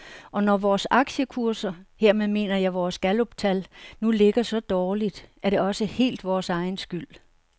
Og når vores aktiekurser, hermed mener jeg vores galluptal, nu ligger så dårligt, er det også helt vores egen skyld.